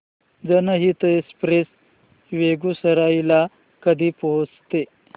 जनहित एक्सप्रेस बेगूसराई ला कधी पोहचते